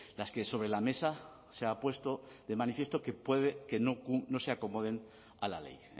las que sobre la mesa se ha puesto de manifiesto que puede que no se acomoden a la ley